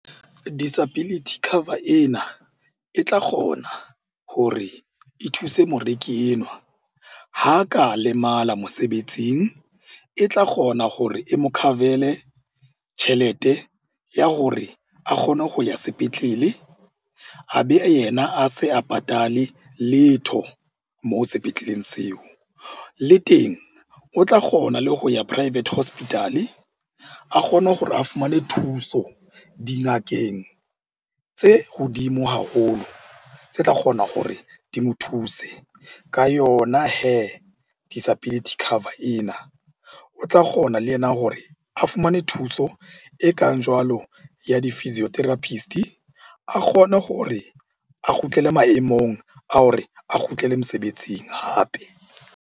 Disability cover ena e tla kgona hore e thuse moreki enwa ha ka lemala mosebetsing. E tla kgona hore e mo cover-ele tjhelete ya hore a kgone ho ya sepetlele. A be yena a se a patale letho moo sepetleleng seo. Le teng o tla kgona le ho ya private hospital-e, a kgone hore a fumane thuso dingakeng tse hodimo haholo tse tla kgona hore di mo thuse ka yona hee disability cover ena. O tla kgona le ena hore a fumane thuso e kang jwalo ya di-physitherapist, a kgone hore a kgutlele maemong a hore a kgutlele mosebetsing hape.